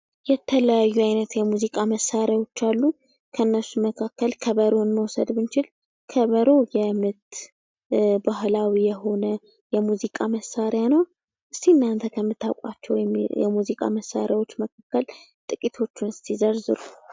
የተለያዩ ዓይነት የሙዚቃ መሣሪያዎች አሉ። ከእነርሱም መካከል ከበሮ መውሰድ ብንችል ከበሮ የእምነት ባህላዊ የሆነ የሙዚቃ መሣሪያ ነው። እስኪ እናንተ ከምታውቋቸው የሙዚቃ መሳሪያዎች መካከል ጥቂቶቹን ዘርዝሩ።